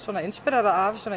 inspírerað af